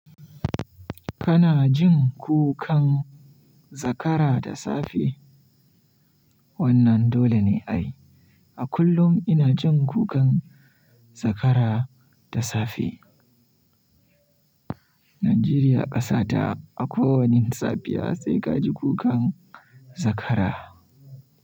Kana jin kukan zakara da safe? Wannan dole ne ai. A kullum ina jin kukan zakara da safe. Najeriya ƙasa ta, a ko wani safiya sai ka ji kukan zakara.